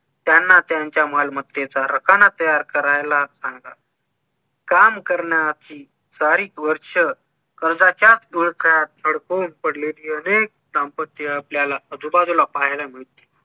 त्यांना त्यांच्या मालमत्तेचा रकाना तयार करायला सांगा काम करण्याची सारीक वर्ष कर्जाच्या विळख्यात अडकून पडून असलेली अनेक दांपत्य आपल्याला आजूबाजूला पाहायला मिळतील